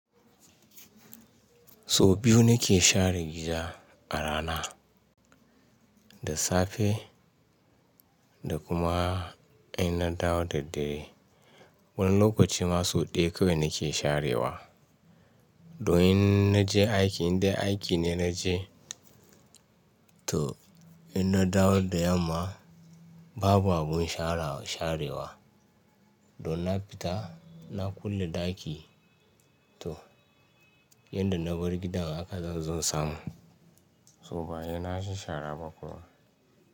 So biyu na ke share gida a rana, da safe da kuma in na dawo da dare. Wani lokaci ma sau ɗaya kawai na ke sharewa. Don in na je aiki, inda aiki ne na je to in na dawo da yamma babu abun sharewa. Don na fita na kulle ɗaki, to yadda na bar gidan haka zan zo samu. So baya na sha shara ba kuwa.